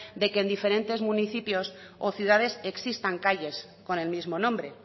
de que en diferente municipios o ciudades existan calles con el mismo nombre